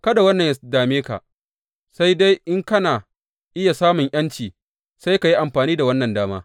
Kada wannan yă dame ka, sai dai in kana iya samun ’yanci, sai ka yi amfani da wannan dama.